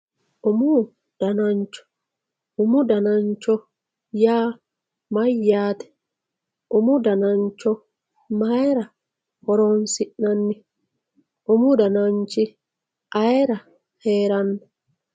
Umu danancho umu danancho yaa mayate umu danancho mayira horonsinani umu dananichi ayira heerano?